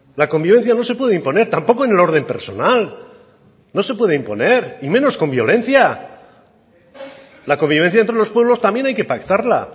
la convivencia no se puede imponer tampoco en el orden personal no se puede imponer y menos con violencia la convivencia entre los pueblos también hay que pactarla